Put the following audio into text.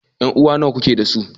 Ƴan'uwa nawa kake dasu?